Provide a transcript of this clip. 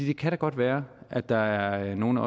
det kan da godt være at der er nogle af